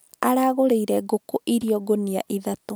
Aragũrĩire ngũkũ irio ngũnia ithatũ